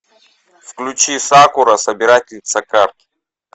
включи сакура собирательница карт